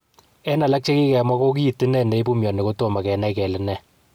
En alak en chegikemwa ko kit inei ne ipu mioni kotomo kenai kele ne.